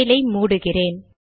file ஐ மூடுகிறேன்